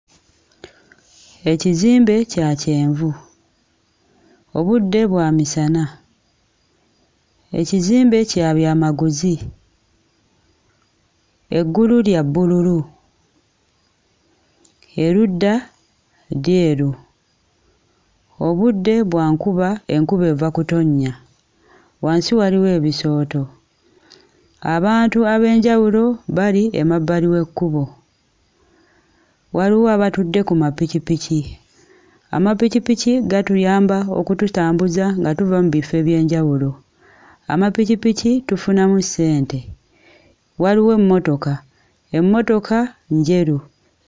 Ekizimbe kya kyenvu. Obudde bwa misana. Ekizimbe kya byamaguzi. Eggulu lya bbululu, erudda lyeru. Obudde bwa nkuba enkuba eva kutonnya wansi waliwo ebisooto, abantu ab'enjawulo bali emabbali w'ekkubo. Waliwo abatudde ku mapikipiki. Amapikipiki gatuyamba okututambuza nga tuva mu bifo eby'enjawulo. Amapikipiki tufunamu ssente, waliwo emmotoka emmotoka njeru.